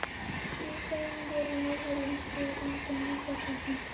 Í þeim efnum voru Norðurlandabúar engin undantekning.